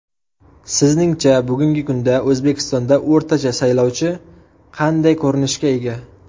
Sizningcha bugungi kunda O‘zbekistonda o‘rtacha saylovchi qanday ko‘rinishga ega?